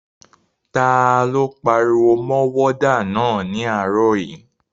Ta ló pariwo mọ wádà náà ní àárọ̀ yìí?